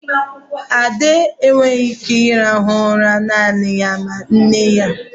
Ade enweghị ike ịrahụ ụra naanị ya ma nne ya.